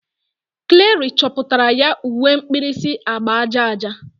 Clari chepụtara ya uwe mkpirisi agba aja aja.